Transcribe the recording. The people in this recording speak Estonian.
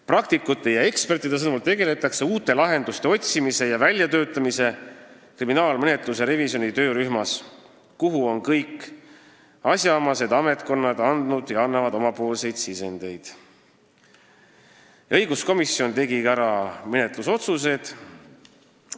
Praktikute ja ekspertide sõnul tegeletakse uute lahenduste otsimise ja väljatöötamisega kriminaalmenetluse revisjoni töörühmas, kuhu on sisendeid andnud ja annavad edasi kõik asjaomased ametkonnad.